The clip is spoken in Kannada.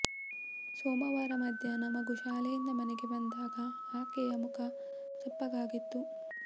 ಸೋಮವಾರ ಮಧ್ಯಾಹ್ನ ಮಗು ಶಾಲೆಯಿಂದ ಮನೆಗೆ ಬಂದಾಗ ಆಕೆಯ ಮುಖ ಸಪ್ಪಗಾಗಿತ್ತು